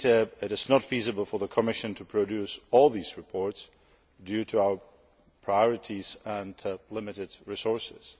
It is not feasible for the Commission to produce all these reports, due to our priorities and limited resources.